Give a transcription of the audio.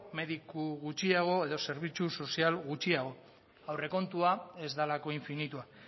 mediku gutxiago edo zerbitzu sozial gutxiago aurrekontua ez delako infinitua